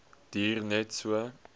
duur net so